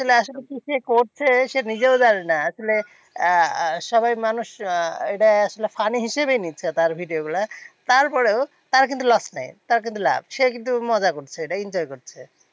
আসলে কি সে করছে? সে নিজেও জানে না। আসলে সবাই মানুষ আহ এইটা একটা funny হিসেবেই নিচ্ছে তার video গুলা। তারপরেও তার কিন্তু loss নেই। তার কিন্তু লাভ। সে কিন্তু মজা করছে, এটা enjoy করছে